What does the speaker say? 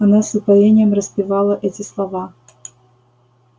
она с упоением распевала эти слова